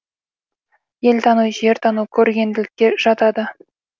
ел тану жер тану көргенділікке жатады